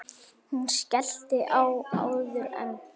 Hún skellti á áður en